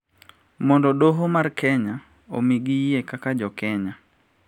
Mondo doho mar Kenya omigi yie kaka Jo Kenya